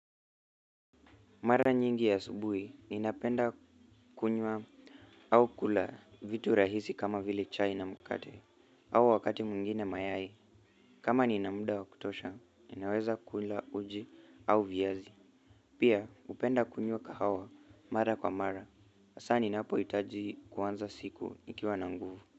Mara nyingi ya asubuhi, ninapenda kunywa au kula vitu rahisi kama vile chai na mkate, au wakati mwingine mayai. Kama nina muda wa kutosha, ninaweza kula uji au viazi. Pia hupenda kunywa kahawa mara kwa mara hsa ninapo itaji kuanza siku nikiwa na nguvu.